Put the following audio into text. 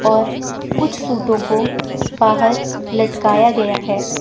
और कुछ सूटों को बाहर लटकाया गया है।